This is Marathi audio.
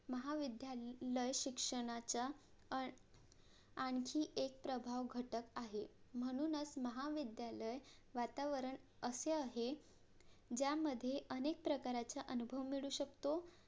महाविद्याल लय शिक्षणाच्या आण आणखी एक प्रभाव घटक आहे म्हणूनच महाविद्यालय वातावरण असे आहे ज्यामध्ये अनेक प्रकारचे अनुभव मिळू शकतो